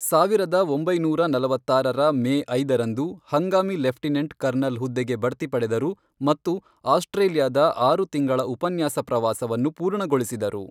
ಸಾವಿರದ ಒಂಬೈನೂರ ನಲವತ್ತಾರರ ಮೇ ಐದರಂದು ಹಂಗಾಮಿ ಲೆಫ್ಟಿನೆಂಟ್ ಕರ್ನಲ್ ಹುದ್ದೆಗೆ ಬಡ್ತಿ ಪಡೆದರು ಮತ್ತು ಆಸ್ಟ್ರೇಲಿಯಾದ ಆರು ತಿಂಗಳ ಉಪನ್ಯಾಸ ಪ್ರವಾಸವನ್ನು ಪೂರ್ಣಗೊಳಿಸಿದರು.